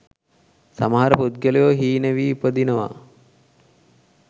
සමහර පුද්ගලයෝ හීන වී උපදිනවා.